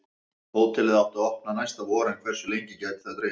Hótelið átti að opna næsta vor en hversu lengi gæti það dregist?